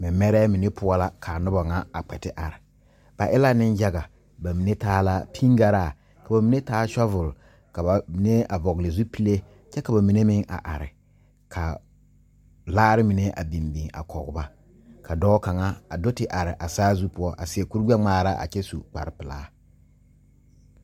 Mɛmɛrɛ mene poʊ la ka nobɔ ŋa a kpe te are. Ba e la ne yaga. Ba mene taa la pingaraa, ka ba mene taa sɔvul, ka ba mene a vogle zupulɛ, kyɛ ka ba mene meŋ a are. Ka laare mene a biŋ biŋ a kɔ ba. Ka dɔɔ kanga a do te are a saazu poʊ a seɛ kur gbɛ ŋmaara a kyɛ su kparo pulaa